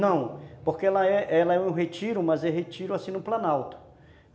Não, porque lá é é um retiro, mas é um retiro, assim, no planalto.